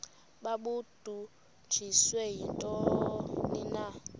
babudunjiswe yintoni na